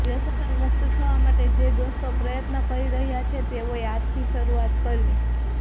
વ્યસન મુક્ત થવા માટે જે દોસ્તો પ્રયત્ન કરી રહ્યા છે તેઓએ આજથી શરૂઆત કરવી